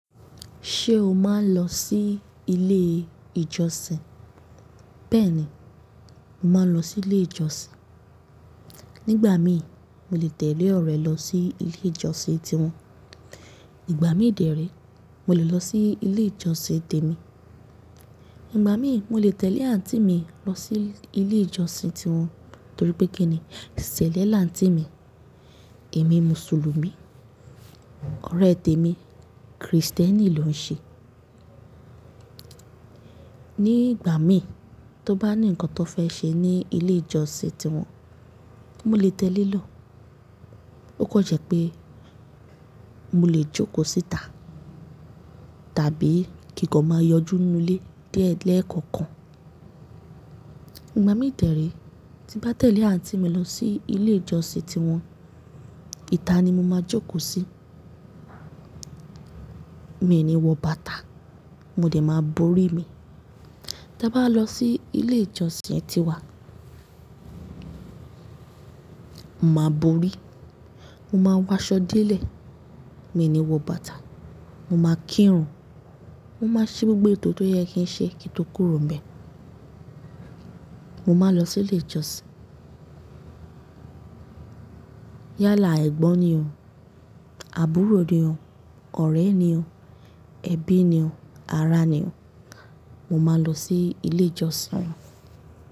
Ṣé o máa ń lọ sí ilé ìjọsìn? Bẹ́ẹ̀ni, mo máa ń lọ sí ilé ìjọsìn. Nígbà mí mo lè tẹ̀lé ọ̀rẹ́ lọ sí ilé ìjọsìn tiwọn. Ígbà mí dèré, mo lè lọ sí ilé ìjọsìn tèmi. Ígbà mí mo lè tẹ̀lé àǹtí mi lọ sí ilé ìjọsìn tiwọn torí pé kíni, cẹ̀lẹ̀ laǹtí mi. Èmi Mùsùlùmí, ọ̀rẹ́ tèmi Krìstẹ́nì lọ́ n ṣe. Nígbà mí tó bá ní nǹkan tó fẹ́ ṣe ní ilé ìjọsìn tiwọn, mo lè tẹ̀lé e lọ. Ó kan jẹ́ pé mo lè jókòó síta tàbí kí kan máa yọjú inú lé diẹ́ lẹ́ẹ̀kọ̀kan. Ígbà mí dèré tí bá tẹ̀lé àǹtí mi lọ sí ilé ìjọsìn tiwọn, ìta ni mo máa jókòó sí. Mi ò ní wọ bàtà, mo dẹ̀ máa borí mi. Ta báwa lọ sí ilé ìjọsìn tíwa, mo máa borí, mo máa wọ aṣọ de lẹ̀, mi ò ní wọ bàtà, mo máa kírun, mo máa ṣe gbogbo ètò tó yẹ kí ń ṣe kí n tó kúrò nbẹ̀. Mo máa lọ sí ilé ìjọsìn. Yálà ẹ̀gbọ́n ni o, àbúrò ni o, ọ̀rẹ́ ni o, ẹbí ni o, ará ni o, mo máa lọ sí ilé ìjọsìn wọn.